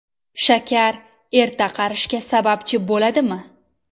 Shakar erta qarishga sababchi bo‘ladimi?